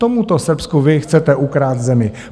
Tomuto Srbsku vy chcete ukrást zemi.